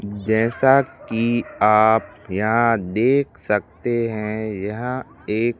जैसा कि आप यहां देख सकते हैं यह एक--